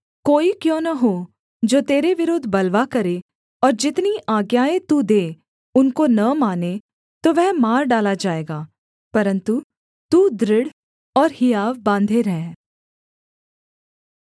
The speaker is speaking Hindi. कोई क्यों न हो जो तेरे विरुद्ध बलवा करे और जितनी आज्ञाएँ तू दे उनको न माने तो वह मार डाला जाएगा परन्तु तू दृढ़ और हियाव बाँधे रह